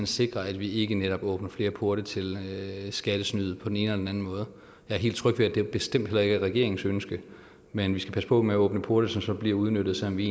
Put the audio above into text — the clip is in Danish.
sikre at vi ikke netop åbner flere porte til skattesnyd på den ene eller anden måde jeg er helt tryg ved at det bestemt heller ikke er regeringens ønske men vi skal passe på med at åbne porte som så bliver udnyttet selv om vi